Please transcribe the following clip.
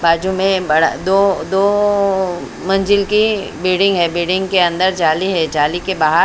बाजू में बड़ा दो दो मंजिल की बिल्डिंग है बिल्डिंग के अंदर जाली है जाली के बाहर--